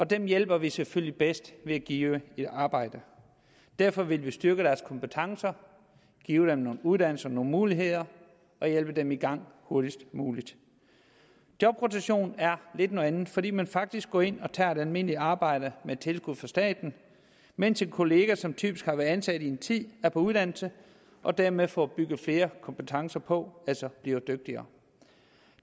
dem hjælper vi selvfølgelig bedst ved at give et arbejde derfor vil vi styrke deres kompetencer give dem nogle uddannelser nogle muligheder og hjælpe dem i gang hurtigst muligt jobrotation er lidt noget andet fordi man faktisk går ind og tager et almindeligt arbejde med tilskud fra staten mens en kollega som typisk har været ansat i en tid er på uddannelse og dermed får bygget flere kompetencer på altså bliver dygtigere